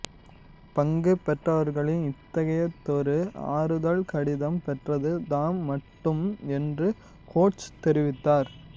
பங்கு பெற்றவர்களில் இத்தகையதொரு ஆறுதல் கடிதம் பெற்றது தாம் மட்டுமே என்று ஹோடஸ் தெரிவித்தார்